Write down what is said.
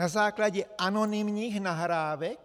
Na základě anonymních nahrávek?